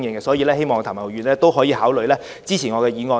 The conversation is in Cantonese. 所以，希望譚文豪議員考慮支持我的議案。